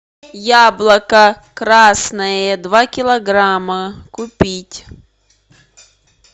яблоко красное два килограмма купить